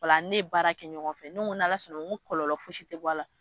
Ola ani ne ye baara kɛ ɲɔgɔn fɛ ne ko n'Ala sɔnna , n ko kɔlɔlɔ fosi tɛ bɔ a la.